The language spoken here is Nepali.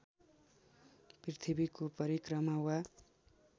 पृथ्वीको परिक्रमा वा